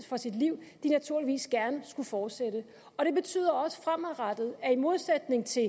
for sit liv naturligvis gerne skulle fortsætte og det betyder også fremadrettet at vi i modsætning til